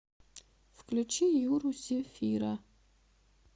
включи юру зефира